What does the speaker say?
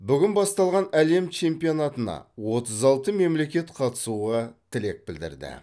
бүгін басталған әлем чемпионатына отыз алты мемлекет қатысуға тілек білдірді